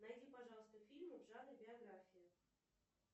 найди пожалуйста фильм в жанре биография